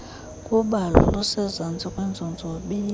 khubalo lisezantsi kwiinzonzobila